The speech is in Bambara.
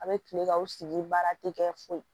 A bɛ kile ka u sigi baara tɛ kɛ foyi ye